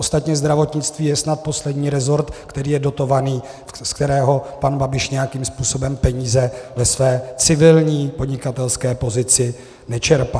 Ostatně zdravotnictví je snad poslední resort, který je dotovaný, z kterého pan Babiš nějakým způsobem peníze ve své civilní podnikatelské pozici nečerpá.